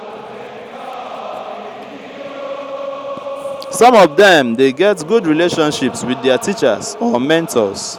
some of dem de get good relationships with their teachers or memtors